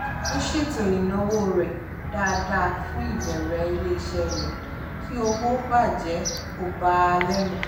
ó ṣètò ináwó rẹ̀ dáadáa fún ìbẹ̀rẹ̀ ilé-iṣẹ́ rẹ̀ kí owó bàjẹ́ kò bà á lẹ́nu